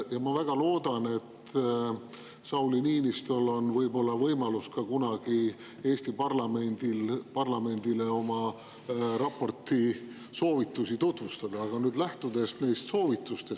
Ja ma väga loodan, et Sauli Niinistöl on võib-olla kunagi võimalus Eesti parlamendile oma raportis soovitusi tutvustada.